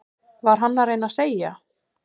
Var hann að reyna að segja